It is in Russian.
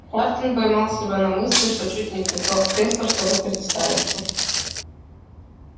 хардин поймал себя на мысли что чуть не привстал с кресла чтобы представиться